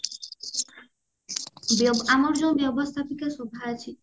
ଯୋଉ ଆମର ଯୋଉ ବ୍ୟବସ୍ତାପିକା ସଭା ଅଛି